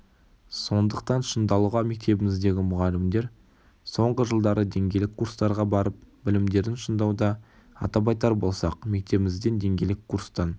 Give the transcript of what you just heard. сондықтан шыңдалуға мектебіміздегі мұғалімдер соңғы жылдары деңгейлік курстарға барып білімдерін шыңдауда атап айтар болсақ мектебімізден деңгейлік курстан